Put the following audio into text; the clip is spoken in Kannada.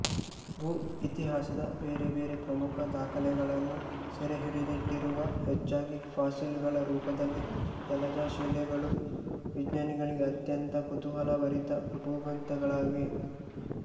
ಭೂಇತಿಹಾಸದ ಬೇರೆ ಬೇರೆ ಪ್ರಮುಖ ದಾಖಲೆಗಳನ್ನು ಸೆರೆಹಿಡಿದಿಟ್ಟಿರುವ ಹೆಚ್ಚಾಗಿ ಫಾಸಿಲುಗಳ ರೂಪದಲ್ಲಿ ಜಲಜಶಿಲೆಗಳು ವಿಜ್ಞಾನಿಗಳಿಗೆ ಅತ್ಯಂತ ಕುತೂಹಲಭರಿತ ಭೂಗ್ರಂಥಗಳಾಗಿವೆ